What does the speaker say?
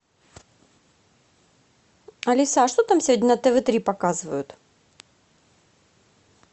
алиса а что там сегодня на тв три показывают